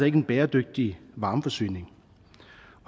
ikke en bæredygtig varmeforsyning